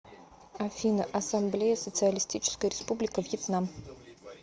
афина ассамблея социалистическая республика вьетнам